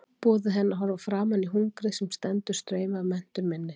Boðið henni að horfa framan í hungrið sem stendur straum af menntun minni.